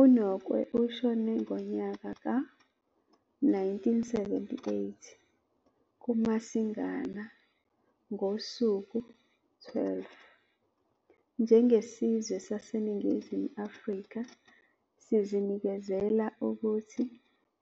UNokwe ushone ngonyaka ka-1978 kuMasingana ngosuku 12 njengesizwe saseNingizimu Afrika sizinikezela ukuthi